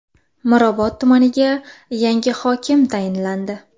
Mirobod tumaniga yangi hokim tayinlandi.